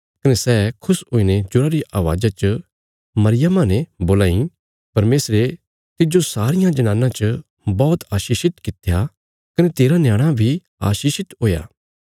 कने सै खुश हुईने जोरा री अवाज़ा च मरियमा ने बोलां इ परमेशरे तिज्जो सारियां जनानां च बौहत आशीषित कित्या कने तेरा न्याणा बी आशीषित हुया